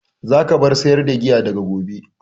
Za ka bar sayar da giya daga gobe!